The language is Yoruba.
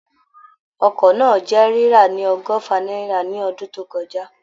Ọkọ̀ náà jẹ́ rírà ní ọgọ́fà náírà ní ọdún tó kọjá